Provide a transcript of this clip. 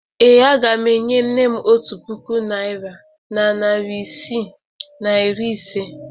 Ee, aga m enye nne m otu puku naịra na narị isii na iri ise.